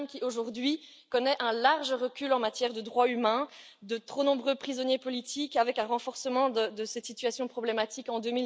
Le Viêt Nam qui, aujourd'hui, connaît un large recul en matière de droits humains, de trop nombreux prisonniers politiques et un renforcement de cette situation problématique en